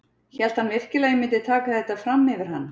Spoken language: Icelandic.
Hélt hann virkilega að ég myndi taka þetta fram yfir hann?